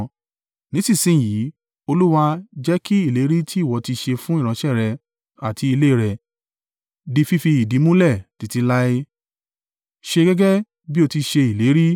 “Nísinsin yìí, Olúwa, jẹ́ kí ìlérí tí ìwọ ti ṣe fún ìránṣẹ́ rẹ àti ilé rẹ̀ di fífi ìdí múlẹ̀ títí láé. Ṣe gẹ́gẹ́ bí o ti ṣe ìlérí.